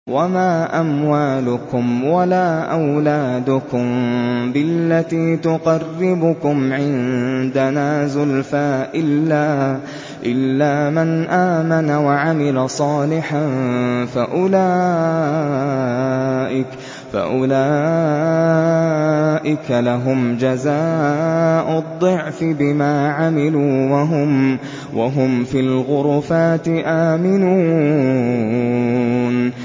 وَمَا أَمْوَالُكُمْ وَلَا أَوْلَادُكُم بِالَّتِي تُقَرِّبُكُمْ عِندَنَا زُلْفَىٰ إِلَّا مَنْ آمَنَ وَعَمِلَ صَالِحًا فَأُولَٰئِكَ لَهُمْ جَزَاءُ الضِّعْفِ بِمَا عَمِلُوا وَهُمْ فِي الْغُرُفَاتِ آمِنُونَ